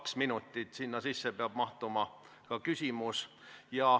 Kahe minuti sisse peab mahtuma küsimus.